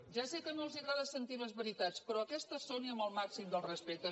ja sé que no els agrada sentir les veritats però aquestes són i amb el màxim dels respectes